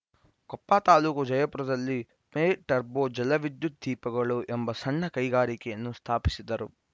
ಕೊಪ್ಪ ತಾಲೂಕು ಜಯಪುರದಲ್ಲಿ ಮೆ ಟರ್ಬೋ ಜಲವಿದ್ಯುತ್‌ ದೀಪಗಳು ಎಂಬ ಸಣ್ಣ ಕೈಗಾರಿಕೆಯನ್ನು ಸ್ಥಾಪಿಸಿದರು